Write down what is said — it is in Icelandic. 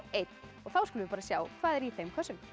þá skulum við sjá hvað er í þeim kössum